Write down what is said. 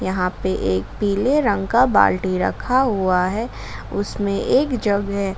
यहां पे एक पीले रंग का एक बाल्टी रखा हुआ है उसमें एक जग है।